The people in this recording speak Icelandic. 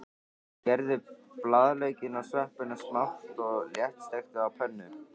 Skerðu blaðlaukinn og sveppina smátt og léttsteiktu á pönnu.